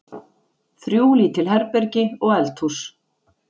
Þrjú lítil herbergi og eldhús.